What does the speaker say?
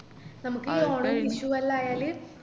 നമുക്ക് ഈ ഓണം വിഷുവെല്ലാം ആയാല്